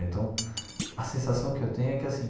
Então, a sensação que eu tenho é que, assim,